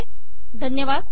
पुन्हा एकदा धन्यवाद